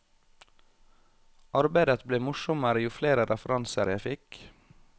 Arbeidet ble morsommere jo flere referanser jeg fikk.